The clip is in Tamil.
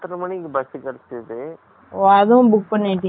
ஓ, அதுவும் book பண்ணிட்டீங்க. Sleeper ஆ? ஆ, ஆ